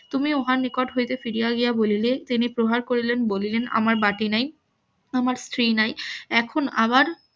তুমি উহার নিকট হইতে ফিরিয়া গিয়া বলিলে তিনি প্রহার করিলেন বলিলেন আমার বাটি নাই আমার স্ত্রী নাই এখন আবার